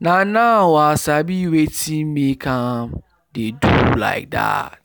na now i sabi wetin make am dey do like that